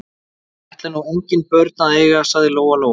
Ég ætla nú engin börn að eiga, sagði Lóa Lóa.